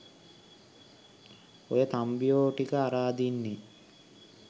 ඔය තම්බියෝ ටික අරඅදින්නේ